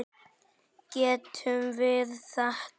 Getum við þetta?